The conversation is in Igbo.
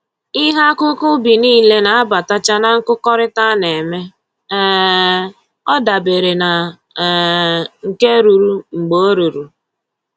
Ihe akụkụ ubi nile na-abatacha na nkụkọrịta a na-eme, um ọ dabere na um nke ruru mgbe o ruru